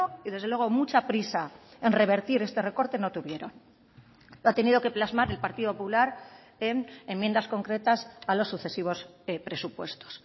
y desde luego mucha prisa en revertir este recorte no tuvieron lo ha tenido que plasmar el partido popular en enmiendas concretas a los sucesivos presupuestos